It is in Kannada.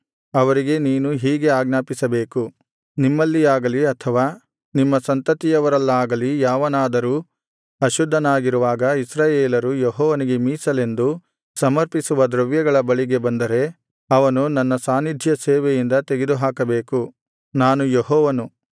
ಅವರಿಗೆ ನೀನು ಹೀಗೆ ಆಜ್ಞಾಪಿಸಬೇಕು ನಿಮ್ಮಲ್ಲಿಯಾಗಲಿ ಅಥವಾ ನಿಮ್ಮ ಸಂತತಿಯವರಲ್ಲಾಗಲಿ ಯಾವನಾದರೂ ಅಶುದ್ಧನಾಗಿರುವಾಗ ಇಸ್ರಾಯೇಲರು ಯೆಹೋವನಿಗೆ ಮೀಸಲೆಂದು ಸಮರ್ಪಿಸುವ ದ್ರವ್ಯಗಳ ಬಳಿಗೆ ಬಂದರೆ ಅವನು ನನ್ನ ಸಾನ್ನಿಧ್ಯಸೇವೆಯಿಂದ ತೆಗೆದು ಹಾಕಬೇಕು ನಾನು ಯೆಹೋವನು